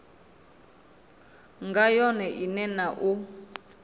nga yone ine na u